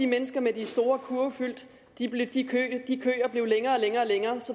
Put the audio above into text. mennesker med de store kurve fyldt blev længere og længere og længere